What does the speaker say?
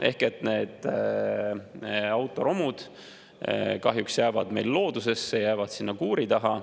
Ehk need autoromud kahjuks jäävad meil loodusesse, jäävad sinna kuuri taha.